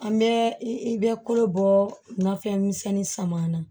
An bɛ i bɛ kolo bɔ nafɛn misɛnnin sama na